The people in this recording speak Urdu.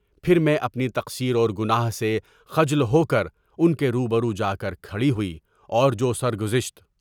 پھر میں اپنی تقصیر اور گناہ سے خجل ہو کر ان کے روبرو جا کر کھڑی ہوئی اور جو سرگزشت